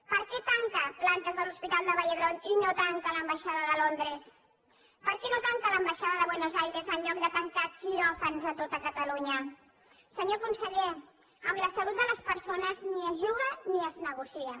per què tanca plantes de l’hospital de la vall d’hebron i no tanca l’ambaixada de londres per què no tanca l’ambaixada de buenos aires en lloc de tancar quiròfans a tot catalunya senyor conseller amb la salut de les persones ni es juga ni es negocia